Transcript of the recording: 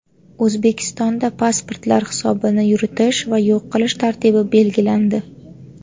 O‘zbekistonda pasportlar hisobini yuritish va yo‘q qilish tartibi belgilandi.